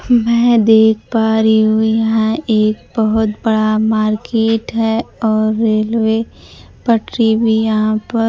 मैं देख पा रही हूं यहां एक बहोत बड़ा मार्केट है और रेलवे पटरी भी यहां पर--